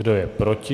Kdo je proti?